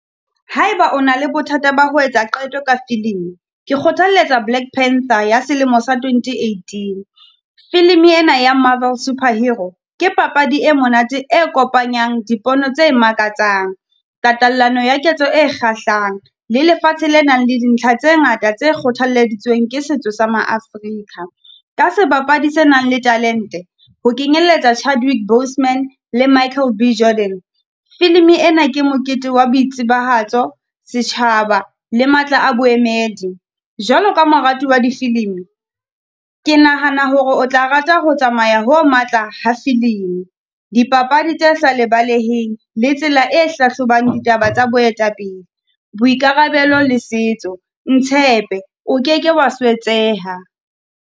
Ha e ba o na le bothata ba ho etsa qeto ka film, ke kgothalletsa Black Panther ya selemo sa twenty eighteen. Film ena ya Marvel Superhero ke papadi e monate e kopanyang dipono tse makatsang. Tatallano ya ketso e kgahlang, le lefatshe le nang le dintlha tse ngata tse kgothalleditsweng ke setso sa maAfrika. Ka sebapadi se nang le talente, ho kenyelletsa Chadwick Bosman le Michael B Jordan. Film ena ke mokete wa boitsibahatso, setjhaba le matla a boemedi, jwalo ka morati wa di-film. Ke nahana hore o tla rata ho tsamaya ho matla ha Film. Dipapadi tse sa lebaleheng, le tsela e hlahlobang ditaba tsa boetapele, boikarabelo le setso. Ntshepe, o keke wa swetseha.